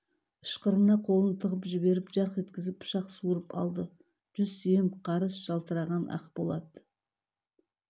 ышқырына қолын тығып жіберіп жарқ еткізіп пышақ суырып алды жүз сүйем қарыс жалтыраған ақ болат